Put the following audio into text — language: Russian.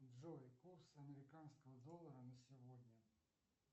джой курс американского доллара на сегодня